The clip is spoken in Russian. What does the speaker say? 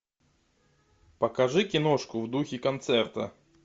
покажи киношку в духе концерта